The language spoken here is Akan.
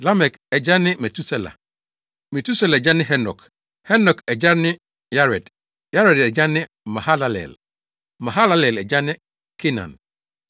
Lamek agya ne Metusela; Metusela agya ne Henok; Henok agya ne Yared; Yared agya ne Mahalalel; Mahalalel agya ne Kenan;